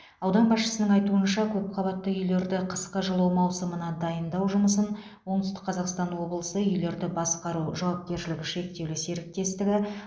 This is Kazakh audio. аудан басшысының айтуынша көпқабатты үйлерді қысқы жылу маусымына дайындау жұмысын оңтүстік қазақстан облысы үйлерді басқару жауапкершілігі шектеулі серіктестігі